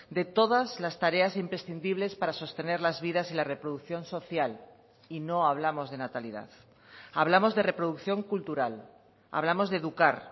de todas las tareas imprescindibles para sostener las vidas y la reproducción social y no hablamos de natalidad hablamos de reproducción cultural hablamos de educar